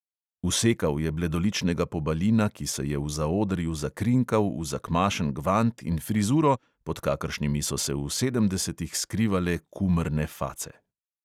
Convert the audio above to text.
Usekal je bledoličnega pobalina, ki se je v zaodrju zakrinkal v zakmašen gvant in frizuro, pod kakršnimi so se v sedemdesetih skrivale kumrne face.